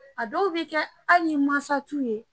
A dɔw be kɛ ali n'i mansa t'u ye